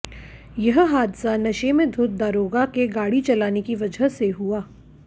यह हादसा नशे में धुत दरोगा के गाड़ी चलाने की वजह से हुआ